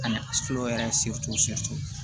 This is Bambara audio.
Ani yɛrɛ